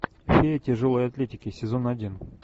фея тяжелой атлетики сезон один